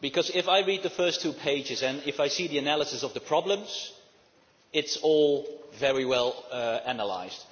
If I read the first two pages and I see the analysis of the problems, it is all very well analysed.